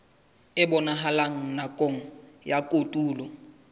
e bonahalang nakong ya kotulo